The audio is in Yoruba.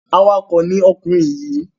Awakọ̀ ni ọkùnrin yìí.